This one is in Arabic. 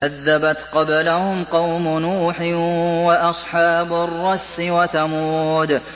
كَذَّبَتْ قَبْلَهُمْ قَوْمُ نُوحٍ وَأَصْحَابُ الرَّسِّ وَثَمُودُ